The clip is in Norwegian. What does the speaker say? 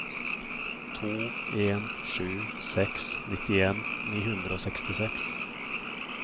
to en sju seks nittien ni hundre og sekstiseks